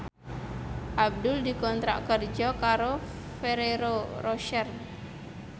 Abdul dikontrak kerja karo Ferrero Rocher